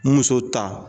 Muso ta